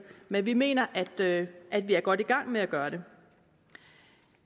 men vi mener at at vi er godt i gang med at gøre det